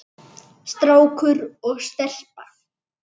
Strákur og stelpa.